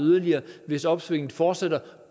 hvis opsvinget fortsætter